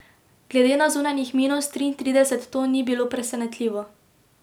Glede na zunanjih minus triintrideset to ni bilo presenetljivo.